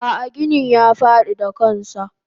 Ah ah ginin ya fadi da kansa.